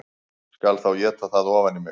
Skal þá éta það ofan í mig